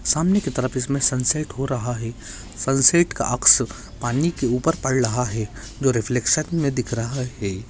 सामने की तरफ इसमे सनसेट हो रहा है। सनसेट का अक्स पानी के उपर पड रहा है। जो रिफलेक्शन मे दिख रहा है।